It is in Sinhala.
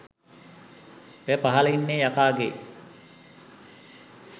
ඔය පහල ඉන්න යකාගේ